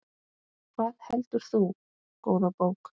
Hvað heldur þú, góða bók?